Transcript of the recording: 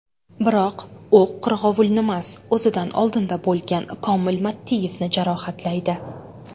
Biroq, o‘q qirg‘ovulnimas, o‘zidan oldinda bo‘lgan Komil Mattiyevni jarohatlaydi.